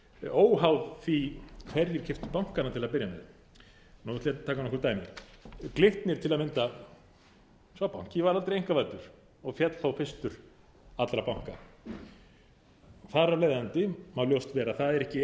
óháð því hverjir keyptu bankana til að byrja með nú ætla ég að taka nokkur dæmi glitnir til að mynda sá banki var aldrei einkavæddur og féll þó fyrstur allra banka þar af leiðandi má ljóst vera að það er ekki